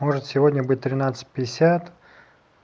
может сегодня быть тринадцать пятьдесят